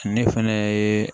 Ne fɛnɛ ye